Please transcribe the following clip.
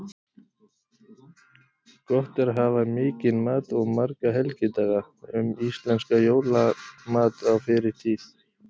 Gott er að hafa mikinn mat og marga helgidaga: Um íslenskan jólamat á fyrri tíð.